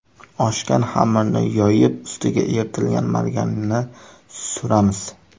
Oshgan xamirni yoyib, ustiga eritilgan margarinni suramiz.